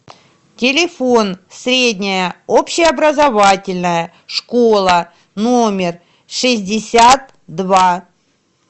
телефон средняя общеобразовательная школа номер шестьдесят два